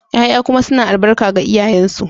ya'ya kuma suna albarka ga iyayensu